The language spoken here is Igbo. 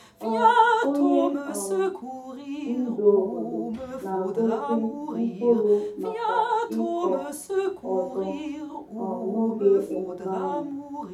um Onye um ndu obodo na-agọzi mkpụrụ maka ịkọ ọzọ um n'oge emume ahụ.